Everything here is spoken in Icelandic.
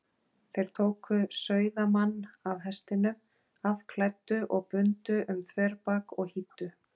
Þeir tóku sauðamann af hestinum, afklæddu og bundu um þverbak og hýddu.